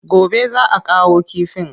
Gobe za a kawo kifin.